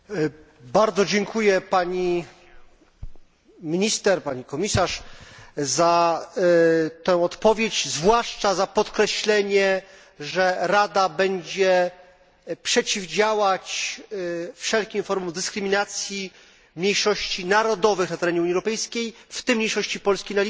Bardzo dziękuję pani minister, pani komisarz, za tę odpowiedź, zwłaszcza za podkreślenie, że Rada będzie przeciwdziałać wszelkim formom dyskryminacji mniejszości narodowych na terenie Unii Europejskiej, w tym mniejszości polskiej na Litwie.